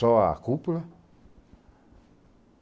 Só a cúpula.